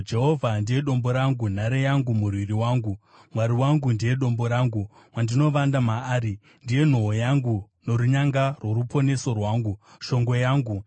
Jehovha ndiye dombo rangu, nhare yangu, murwiri wangu; Mwari wangu ndiye dombo rangu, wandinovanda maari. Ndiye nhoo yangu norunyanga rworuponeso rwangu, shongwe yangu.